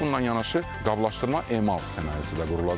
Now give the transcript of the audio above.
Bununla yanaşı qablaşdırma emal sənayesi də qurulacaq.